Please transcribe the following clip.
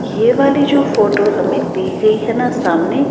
ये वाली जो फोटो हमें दी गई है ना सामने--